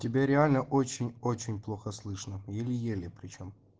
тебя реально очень очень плохо слышно еле еле причём